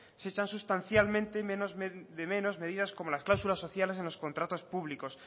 se echan sustancialmente de menos medidas como las cláusulas sociales en los contratos públicos